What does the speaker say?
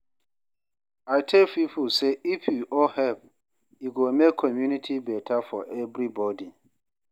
I tell people say if we all help, e go make community better for everybody.